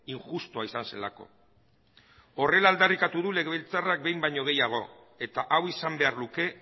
injustua izan zelako horrela aldarrikatu du legebiltzarrak behin baino gehiago eta hau izan behar luke